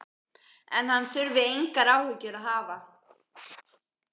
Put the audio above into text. En hann þurfi engar áhyggjur að hafa.